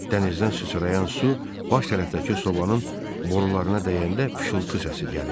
Dənizdən sıçrayan su baş tərəfdəki sobanın borularına dəyəndə fışıltı səsi gəlirdi.